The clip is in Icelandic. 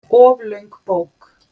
Of löng bók